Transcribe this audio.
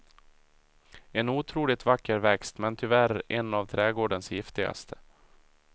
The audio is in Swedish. En otroligt vacker växt, men tyvärr en av trädgårdens giftigaste.